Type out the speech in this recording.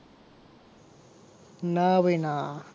ના ભાઈ ના